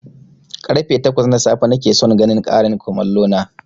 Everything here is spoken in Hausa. Karfe takwas na safe nakeson ganin ƙarin komallo na